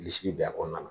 Bilisi bɛ a kɔnɔna na